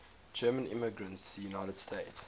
german immigrants to the united states